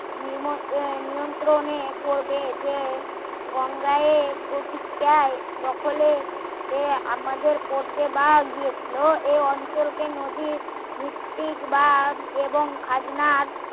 নিম নিয়ন্ত্রণে করবে যে গঙ্গায় প্রতীক চায় দখলে সে আমাদের করতে পাওয়া গিয়েছিল এ অঞ্চলকে নদী ভিত্তিক বা এবং খাজনার